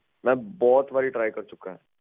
mam ਬਹੁਤ ਵਾਰ try ਕਰ ਚੁਕਿਆ